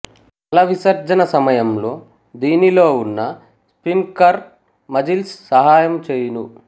మల విసర్జన సమయం లో దీనిలో ఉన్న స్పిన్క్ట్రర్ మజిల్స్ సహాయము చేయును